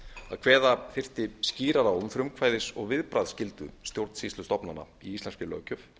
að kveða þyrfti skýrar á um frumkvæðis og viðbragðsskyldu stjórnsýslustofnana í íslenskri löggjöf